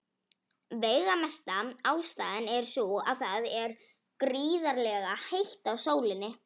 Veigamesta ástæðan er sú að það er gríðarlega heitt á sólinni.